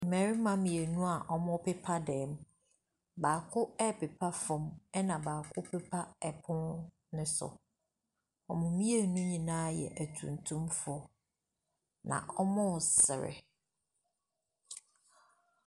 Mmarima mmienu a ɔmo pepa dɛm. Baako ɛpepa fɔm ɛna baako ɛpepa ɛpon no so. Ɔmo mmienu nyinaa yɛ ɛtumtum fo. Na ɔmo sere.